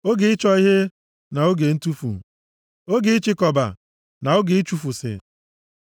oge ịchọ ihe, na oge ntufu, oge ịchịkọba, na oge ichifusi,